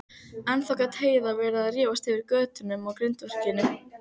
Ennþá gat Heiða verið að rífast yfir götunum á grindverkinu.